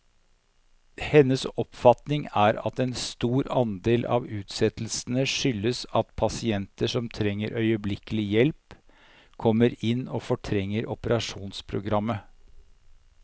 Hennes oppfatning er at en stor andel av utsettelsene skyldes at pasienter som trenger øyeblikkelig hjelp, kommer inn og fortrenger operasjonsprogrammet.